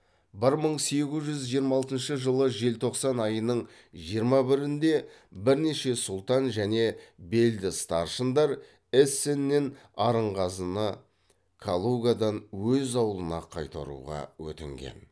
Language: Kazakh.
бір мың сегіз жүз жиырма алтыншы жылы желтоқсан айының жиырма бірінде бірнеше сұлтан және белді старшындар эссеннен арынғазыны калугадан өз ауылына қайтаруға өтінген